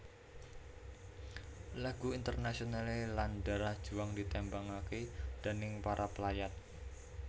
Lagu Internationale lan Darah Juang ditembangaké déning para pelayat